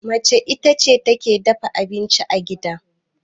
mace ita ce take dafa abinci a gida